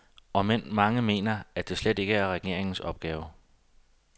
Omend mange mener, at dette slet ikke er regeringens opgave.